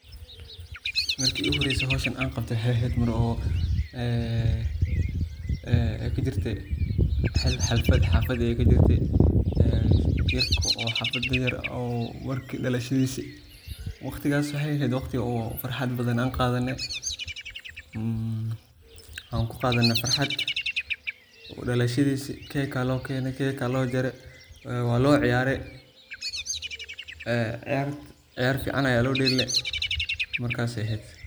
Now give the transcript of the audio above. Marki igu horeyse howshan an qabto waxay ehed Mar oo een ay kajirte xalfad xaafad ay kajirte ee yarko oo xafada, markii dhalashadiisa, waqtigaas waxay ehed waqti oo farxad badan an qadaane waxan kuqaadane farxad, dhalashadiisi cake aa loo keene cake aa loo jaare waa loo ciyaare ee ciyart ciyaar fican aya loo dheele, markas ay ehed